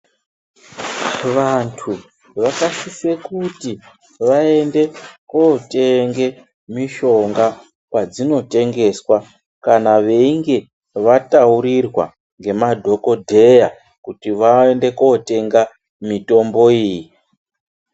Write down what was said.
Vantu vakasise kuti vaende kotenge mishonga kwadzinotengeswa. Kana veinge vataurirwa ngemadhogodheya kuti vaende kotenga mitombo iyi.